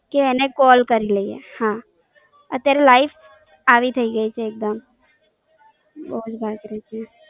કે એને Call કરી લઈએ, અત્યારે લાઈ ફી થઇ ગઈ છે એક Dam Oak Fine.